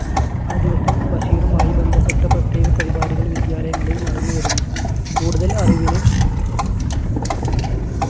ആ ദിവസം ബഷീറുമായി ബന്ധപ്പെട്ട പ്രത്യേക പരിപാടികൾ വിദ്യാലയങ്ങളിൽ നടന്നുവരുന്നു. കൂടുതൽ അറിവിന്